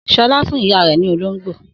Sọlá fún ìyá rẹ̀ ní olóńgbò.